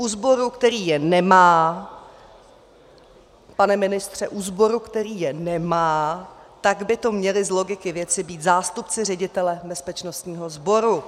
U sboru, který je nemá - pane ministře - u sboru, který je nemá, tak by to měli z logiky věci být zástupci ředitele bezpečnostního sboru.